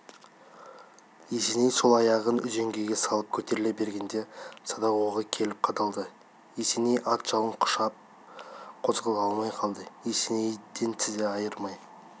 есеней сол аяғын үзеңгіге салып көтеріле бергенде садақ оғы келіп қадалды есеней ат жалын құшып қозғала алмай қалды есенейден тізе айырмай